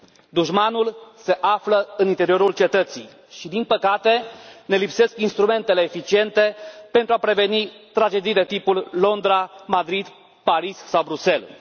Dușmanul se află în interiorul cetății și, din păcate, ne lipsesc instrumentele eficiente pentru a preveni tragedii de tipul Londra, Madrid, Paris sau Bruxelles.